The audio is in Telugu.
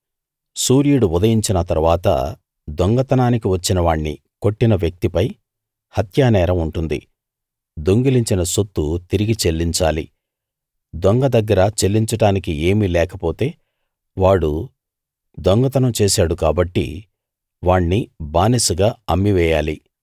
సూర్యుడు ఉదయించిన తరువాత దొంగతనానికి వచ్చిన వాణ్ణి కొట్టిన వ్యక్తి పై హత్యానేరం ఉంటుంది దొంగిలించిన సొత్తు తిరిగి చెల్లించాలి దొంగ దగ్గర చెల్లించడానికి ఏమీ లేకపోతే వాడు దొంగతనం చేశాడు కాబట్టి వాణ్ణి బానిసగా అమ్మివేయాలి